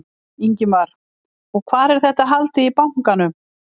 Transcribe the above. Ingimar: Og hvar, er þetta haldið í bankanum?